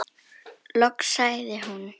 Loks sagði hún: